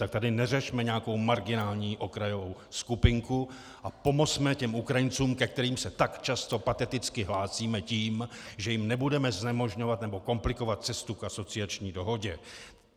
Tak tady neřešme nějakou marginální okrajovou skupinku a pomozme těm Ukrajincům, ke kterým se tak často pateticky hlásíme tím, že jim nebudeme znemožňovat nebo komplikovat cestu k asociační dohodě.